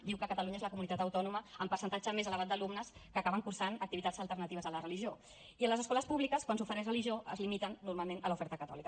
diu que catalunya és la comunitat autònoma amb percentatge més elevat d’alumnes que acaben cursant activitats alternatives a la religió i en les escoles públiques quan s’ofereix religió es limiten normalment a l’oferta catòlica